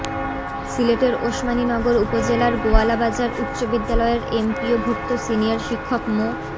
সিলেটের ওসমানীনগর উপজেলার গোয়ালাবাজার উচ্চ বিদ্যালয়ের এমপিওভুক্ত সিনিয়র শিক্ষক মো